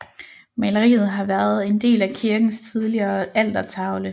Maleriet har været en del af kirkens tidligere altertavle